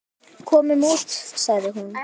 Komum út, sagði hún.